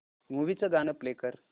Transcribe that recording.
movie चं गाणं play कर